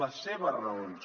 les seves raons